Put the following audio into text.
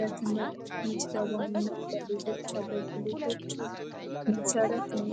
ለትምህርት መዝገባና ለሌሎች አገልግሎቶች መሰረት ነው